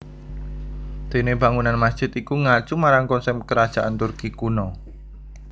Dene bangunan masjid iku ngacu marang konsep Kerajaan Turki kuno